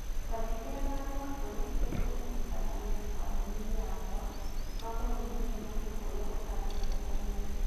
Twandĩkĩre marũa kũrĩ mũndũ ũrutaga wĩra kambuni-inĩ yakwa makoniĩ mũcemanio ũrĩa ũbangĩtwo ũmũthĩ